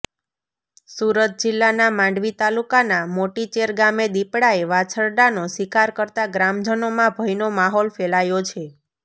સુરત જિલ્લાના માંડવી તાલુકાના મોટીચેર ગામે દીપડાએ વાછરડાનો શિકાર કરતા ગ્રામજનોમાં ભયનો માહોલ ફેલાયો છે